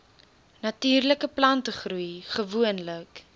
natuurlike plantegroei gewoonlik